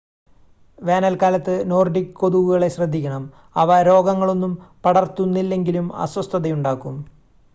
വേനൽക്കാലത്ത് നോർഡിക് കൊതുകുകളെ ശ്രദ്ധിക്കണം അവ രോഗങ്ങളൊന്നും പടർത്തുന്നില്ലെങ്കിലും അസ്വസ്ഥതയുണ്ടാക്കും